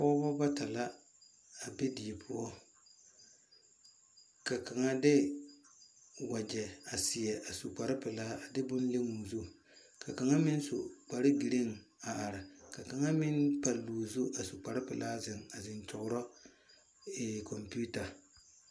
Pɔgba bata la a be deɛ pou ka kanga de wɔje a seɛ a su kpare pelaa a de bun le ɔ zu ka kanga meng su kpare green a arẽ ka kanga meng palle ɔ zu zu a su kpare pelaa zeng a zeng kyuguro komputar.